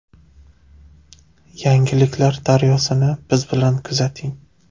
Yangiliklar daryosini biz bilan kuzating.